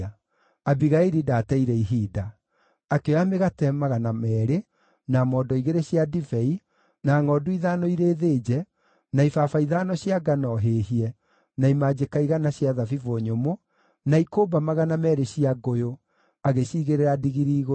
Abigaili ndaateire ihinda. Akĩoya mĩgate magana meerĩ, na mondo igĩrĩ cia ndibei, na ngʼondu ithano ĩrĩ thĩnje, na ibaba ithano cia ngano hĩhie, na imanjĩka igana cia thabibũ nyũmũ, na ikũmba magana meerĩ cia ngũyũ, agĩciigĩrĩra ndigiri igũrũ.